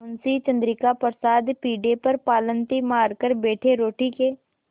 मुंशी चंद्रिका प्रसाद पीढ़े पर पालथी मारकर बैठे रोटी के